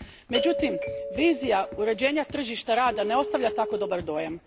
Međutim, vizija uređenja tržišta rada ne ostavlja tako dobar dojam.